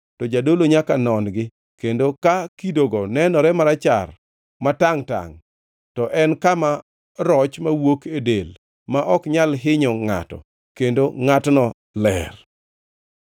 to jadolo nyaka non-gi, kendo ka kidogo nenore marachar ma tangʼ-tangʼ, to en kama roch mawuok e del ma ok nyal hinyo ngʼato; kendo ngʼatno ler.